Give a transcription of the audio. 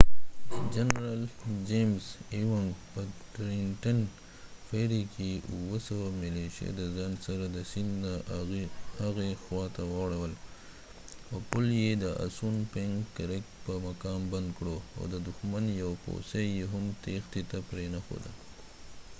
جنرال چېمز ایونګ په ټرینټن فیری کې اووه سوه ملیشه د ځان سره د سیند نه هغې خواته واړوله او پل یې د اسون پنک کرک په مقام بند کړ او ددښمن یو پوڅی یې هم تيښتی ته پرینښود